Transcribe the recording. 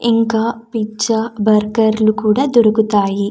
ఇంకా పిజ్జా బర్గర్లు లు కూడా దొరుకుతాయి.